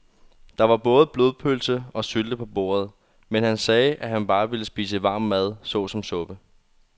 Der var både blodpølse og sylte på bordet, men han sagde, at han bare ville spise varm mad såsom suppe.